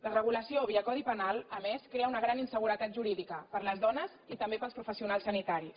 la regulació via codi penal a més crea una gran inseguretat jurídica per a les dones i també per als professionals sanitaris